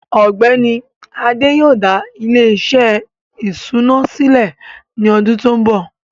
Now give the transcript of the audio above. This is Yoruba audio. ọgbẹni Adé yóò dá ilẹ̀-iṣẹ ìṣúnà silẹ̀ ní ọdún tó nbọ.